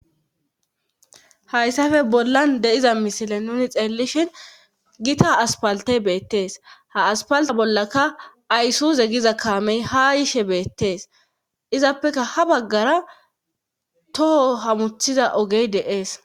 Hayssafe bollan de'iza misile nuni xeellishhin gita aspalte beettees ha aspalte bollaka ayssuze giza kaamey ha yishe beettees izappeka ha baggara toho hamuthiza ogey deees